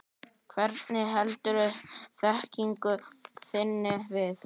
Hvernig heldurðu þekkingu þinni við?